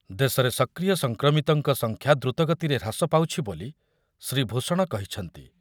ଦେଶରେ ସକ୍ରିୟ ସଂକ୍ରମିତଙ୍କ ସଂଖ୍ୟା ଦ୍ରୁତଗତିରେ ହ୍ରାସ ପାଉଛି ବୋଲି ଶ୍ରୀ ଭୂଷଣ କହିଛନ୍ତି ।